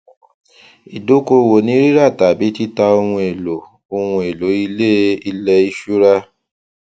ìdókòwò ni rírà tàbí títà ohun èlò ohun èlò ilé ilẹ ìṣura